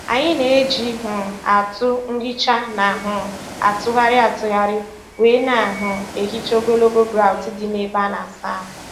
Anyị na-eji um atụ nhicha na um - atụgharị atụgharị wee na um - ehicha ogologo grọut dị na-ebe ana asa ahụ.